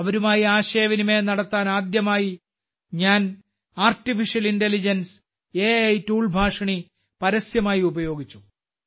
അവരുമായി ആശയവിനിമയം നടത്താൻ ആദ്യമായി ഞാൻ artificial intelligence a tool Bhashini പരസ്യമായി ഉപയോഗിച്ചു